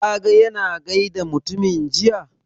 Ka ga ya na gaida mutumin jiya?